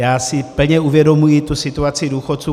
Já si plně uvědomuji tu situaci důchodců.